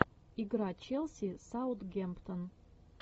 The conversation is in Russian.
игра челси саутгемптон